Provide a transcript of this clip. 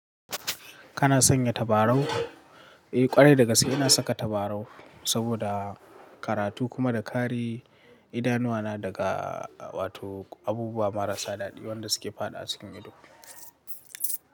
Kana sanya tabarau? Eh kwarai da gaske ina saka tabarau saboda karatu kuma da kare idanuwa na daga wato abubuwa marasa daɗi wanda suke faɗawa cikin ido.